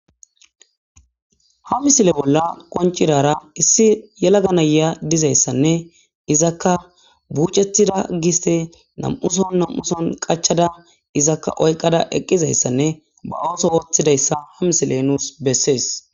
Ha misile bolla qoncidara issi yelaga naya dizayssanne izakka buucetida giste nam7uson nam7uson qachada izakka oyqada eqqizayssanne ba ooso wooththidayssa ha misile nuus bessees.